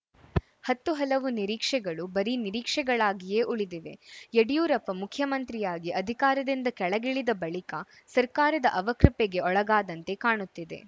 ಹತ್ತು ಹಲವು ನಿರೀಕ್ಷೆಗಳು ಬರೀ ನಿರೀಕ್ಷೆಗಳಾಗಿಯೇ ಉಳಿದಿವೆ ಯಡಿಯೂರಪ್ಪ ಮುಖ್ಯಮಂತ್ರಿಯಾಗಿ ಅಧಿಕಾರದಿಂದ ಕೆಳಗಿಳಿದ ಬಳಿಕ ಸರ್ಕಾರದ ಅವಕೃಪೆಗೆ ಒಳಗಾದಂತೆ ಕಾಣುತ್ತಿದೆ